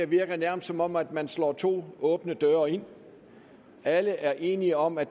virker nærmest som om man slår to åbne døre ind alle er enige om at